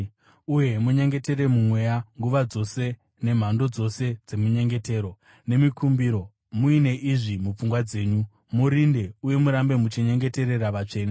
Uye munyengetere muMweya nguva dzose nemhando dzose dzeminyengetero nemikumbiro. Muine izvi mupfungwa dzenyu, murinde uye murambe muchinyengeterera vatsvene.